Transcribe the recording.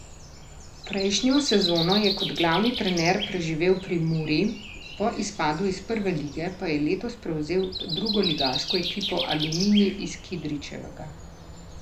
Prejšnjo sezono je kot glavni trener preživel pri Muri, po izpadu iz prve lige pa je letos prevzel drugoligaško ekipo Aluminij iz Kidričevega.